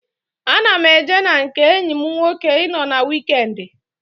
Aga m eje na nke enyi m nwoke ị nọ wiikendi